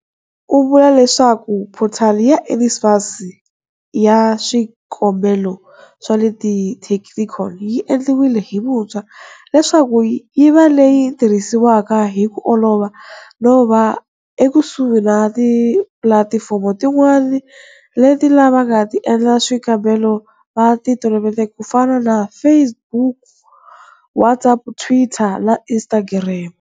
U vula leswaku phothali ya NSFAS ya swikombelo swa le ti technicon yi endliwile hi vuntshwa leswaku yi va leyi tirhisiwaka hi ku olova no va ekusuhi na tipulatifomo tin'wana leti lava nga ta endla swikombelo va ti toloveleke ku fana na Facebook, WhatsApp, Twitter na Instagram.